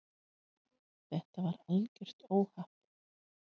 Þetta var algjört óhapp.